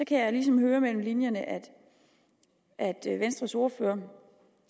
kan jeg ligesom høre mellem linjerne at at venstres ordfører